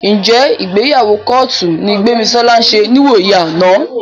Ǹjẹ́ ìgbéyàwó kọ́ọ̀tù ni Gbémisọ́lá ṣe níwòyí àná?